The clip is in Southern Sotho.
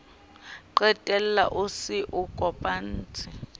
qetella o se o kopanetse